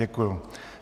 Děkuju.